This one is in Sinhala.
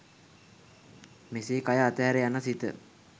මෙසේ කය අතහැර යන සිත